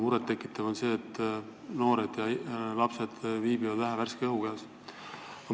Muret tekitav on ka see, et noored ja lapsed viibivad vähe värske õhu käes.